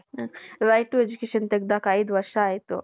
right to education ತಗಧಾಕಿ ಐದು ವರ್ಷ ಆಯ್ತು .